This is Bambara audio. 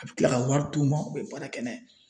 A bɛ kila ka wari d'u ma u bɛ baara kɛ n'a ye.